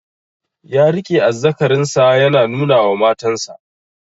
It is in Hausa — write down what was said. Ya riƙe azzakarin sa yana nuna wa matan sa